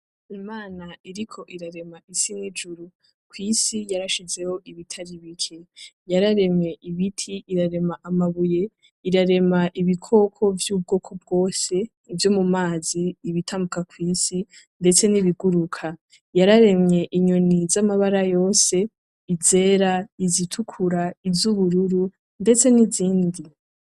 Imana iriko irarema isi n’ijuru, kw’isi yarashizeho ibitari bike . Yararemye ibiti, irarema amabuye, irarema ibikoko vy’ ubwoko bwose , ivyo mu mazi, ibitambuka kw’isi ndetse n’ Ibiguruka. Yararemye inyoni z’amabara yose ; izera, izitukura, iz’ubururu ndetse n’izindi.